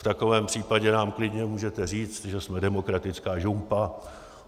V takovém případě nám klidně můžete říct, že jsme demokratická žumpa.